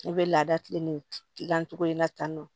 Ne bɛ laada kilennen de dilan cogo in na tantɔ